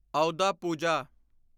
ਆਉਦਾ ਪੂਜਾ